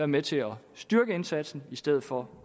med til at styrke indsatsen i stedet for